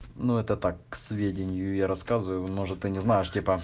ну это так к сведению я рассказываю может ты не знаешь типа